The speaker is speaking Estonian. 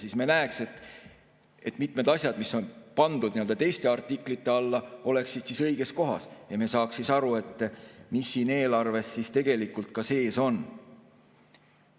Siis me näeks, et mitmed asjad, mis on pandud teiste artiklite alla, oleksid õiges kohas, ja me saaks aru, mis siin eelarves siis tegelikult sees on.